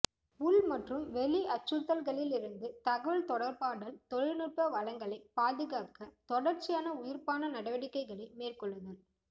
உள் மற்றும் வெளி அச்சறுத்தல்களிலிருந்து தகவல் தொடர்பாடல் தொழில்நுட்ப வளங்களை பாதுகாக்க தொடர்ச்சியான உயிர்ப்பான நடவடிக்கைகளை மேற்கொள்ளுதல்